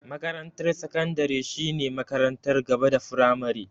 Makarantar sakandare shine makarantar gaba da firamare.